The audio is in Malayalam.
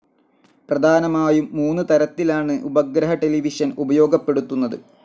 പ്രധാനമായും മൂന്ന് തരത്തിലാണ് ഉപഗ്രഹ ടെലിവിഷൻ ഉപയോഗപ്പെടുത്തുന്നത്.